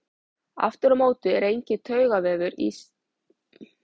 Aftur á móti er enginn taugavefur inni í sin en taugaendar tengjast sinaslíðrinu.